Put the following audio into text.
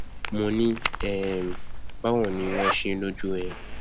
mo ní um báwo ni wọn ṣe lọjú ẹ